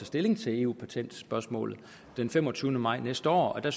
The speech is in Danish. stilling til eu patentspørgsmålet den femogtyvende maj næste år og der